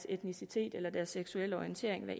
etnicitet eller seksuelle orientering